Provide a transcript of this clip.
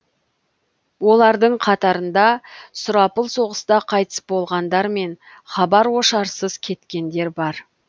олардың қатарында сұрапыл соғыста қайтыс болғандар мен хабар ошарсыз кеткендер бар